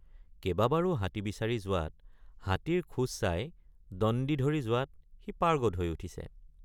কেবাবাৰে৷ হাতী বিচাৰি যোৱাত হাতীৰ খোজ চাই দণ্ডি ধৰি যোৱাত সি পাৰ্গত হৈ উঠিছে।